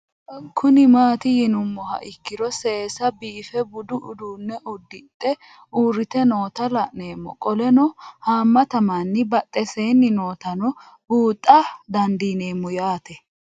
Kuni mati yinumoha ikiro sese bife budu udune udixe urite noota la'nemo qoleno hamata manni baxesen nootano buuxa dandinemo yaate